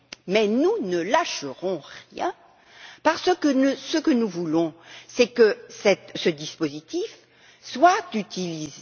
Mais nous ne lâcherons rien parce que ce que nous voulons, c'est que ce dispositif soit utilisé.